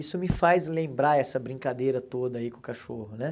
Isso me faz lembrar essa brincadeira toda aí com o cachorro, né?